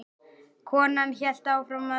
Konan hélt áfram að öskra.